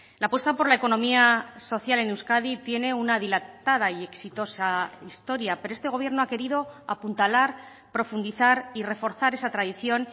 la apuesta por la economía social en euskadi tiene una dilatada y exitosa historia pero este gobierno ha querido apuntalar profundizar y reforzar esa tradición